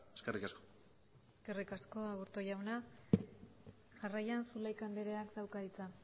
eskerrik asko eskerrik asko aburto jauna jarraian zulaika anderea dauka hitza